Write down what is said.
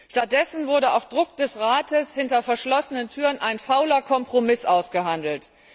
Stattdessen wurde auf Druck des Rates hinter verschlossenen Türen ein fauler Kompromiss ausgehandelt.